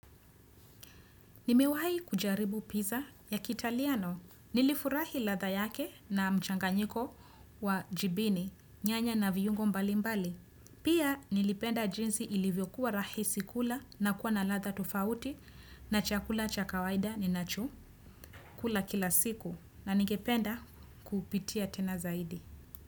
Nimewahi kujaribu pizza ya kitaliano. Nilifurahi latha yake na mchanganyiko wa jibini nyanya na viungo mbali mbali. Pia nilipenda jinsi ilivyokuwa rahisi kula na kuwa na latha tofauti na chakula cha kawaida ni nacho kula kila siku na ningependa kupitia tena zaidi.